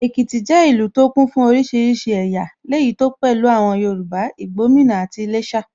Èkìtì jẹ́ ìlú tó kún fún oríṣiríṣi ẹ̀yà, léyìí tó pẹ̀lú àwọn Yorùbá, Labomina àti Iléshà